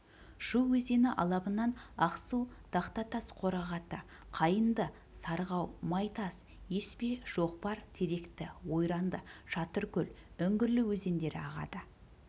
шу өзені алабынан ақсу тақтатас қорағаты қайыңды сарғау майтас еспе шоқпар теректі ойранды шатыркөл үңгірлі өзендері ағады